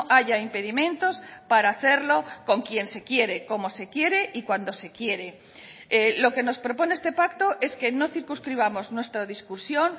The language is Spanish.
haya impedimentos para hacerlo con quien se quiere como se quiere y cuando se quiere lo que nos propone este pacto es que no circunscribamos nuestra discusión